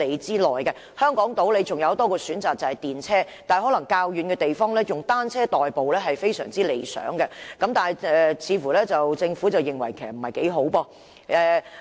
在香港島有多一個公共交通工具的選擇，就是電車，但在較遠的地方，以單車代步就非常理想，但政府似乎不以為然。